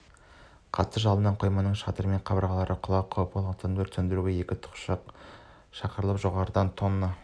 қатты жалыннан қойманың шатыры мен қабырғаларының құлау қаупі болғандықтан өртті сөндіруге екі тікұшақ шақырылып жоғарыдан тонна